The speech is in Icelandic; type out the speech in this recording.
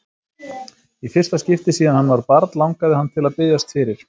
Í fyrsta skipti síðan hann var barn langaði hann til að biðjast fyrir.